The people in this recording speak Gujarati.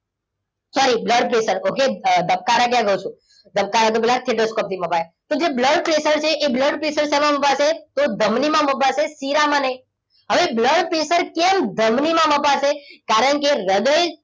sorryblood pressure okay ધબકારા ક્યાં કહું છું? ધબકારા તો પેલા stethoscope થી મપાય. તો જે blood pressure છે એ blood pressure એ શેમાં મપાશે? તો ધમની માં મપાશે શિરામાં નહીં. હવે blood pressure કેમ ધમનીમાં મપાશે? કારણ કે હૃદય,